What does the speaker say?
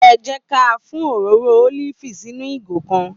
È jẹ kà fùn òróró ólífì sínú ìgò kàn